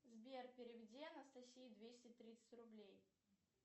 сбер переведи анастасии двести тридцать рублей